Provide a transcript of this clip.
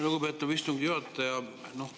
Lugupeetav istungi juhataja!